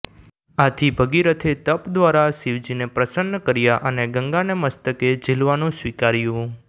આથી ભગીરથે તપ દ્વારા શિવજીને પ્રસન્ન કર્યા અને ગંગાને મસ્તકે ઝીલવાનું સ્વીકાર્યું